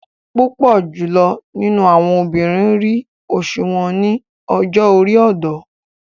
Púpọ jùlọ àwọn obìnrin ríi oṣu wọn ni ọjọ-ori ọdọ